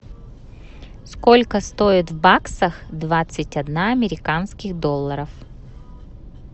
сколько стоит в баксах двадцать одна американских долларов